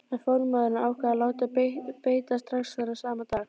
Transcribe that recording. En formaðurinn ákvað að láta beita strax þennan sama dag.